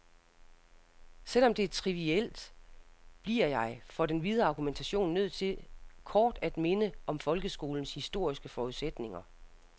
Selv om det er trivielt, bliver jeg for den videre argumentation nødt til kort at minde om folkeskolens historiske forudsætninger.